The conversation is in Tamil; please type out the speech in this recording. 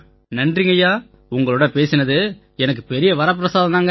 நன்றிங்கய்யா உங்களோட பேசினதே எனக்குப் பெரிய வரப்பிரசாதம்யா